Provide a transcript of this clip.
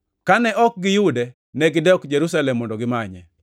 Kane ok giyude, negidok Jerusalem mondo gimanye.